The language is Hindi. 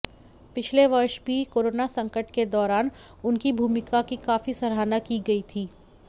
पिछले वर्ष भी कोरोना संकट के दौरान उनकी भूमिका की काफी सराहना की गयी थी